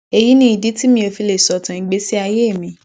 èyí ni ìdí tí mi ò fi lè sọtàn ìgbésí ayé mi